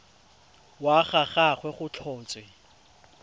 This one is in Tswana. wa ga gagwe go tlhotswe